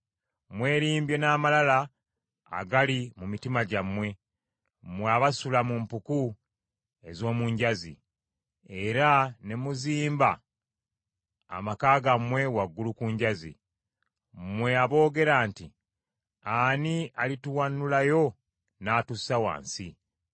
Mwelimbye n’amalala agali mu mitima gyammwe, mmwe abasula mu mpuku ez’omu njazi, era ne muzimba amaka gammwe waggulu ku njazi. Mmwe aboogera nti, ‘Ani alituwanulayo n’atussa wansi?’